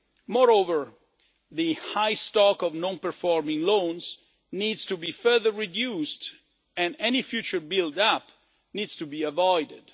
Moreover, the high stock of non performing loans needs to be further reduced and any future build up needs to be avoided.